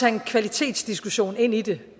en kvalitetsdiskussion ind i det